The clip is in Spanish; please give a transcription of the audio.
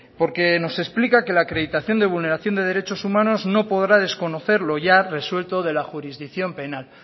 porque nos explica que la acreditación de vulneración de derechos humanos no podrá desconocer lo ya resuelto de la jurisdicción penal